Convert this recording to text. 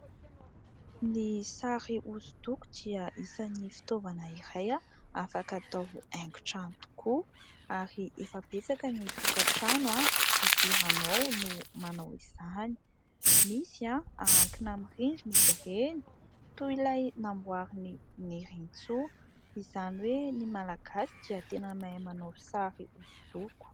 Ny sary hosodoko dia isan'ny fitaovana iray afaka atao haingon-trano tokoa ary efa betsaka ny tokantrano idiranao no manao izany. Misy ahantona amin'ny rindrina izy reny, toy ilay namboarin'i Nirintsoa. Izany hoe ny Malagasy dia tena mahay manao sary hosodoko.